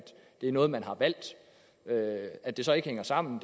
det er noget man har valgt at det så ikke hænger sammen